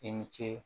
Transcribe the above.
I ni ce